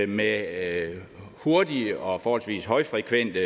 med hurtige og forholdsvis højfrekvente